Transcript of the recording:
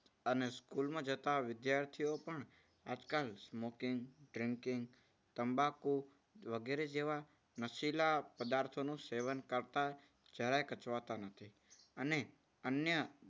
અને school માં જતા વિદ્યાર્થીઓ પણ આજકાલ smoking drinking તંબાકુ વગેરે જેવા નશીલા પદાર્થોનું સેવન કરતા જરાય કચવા તા નથી. અને અન્ય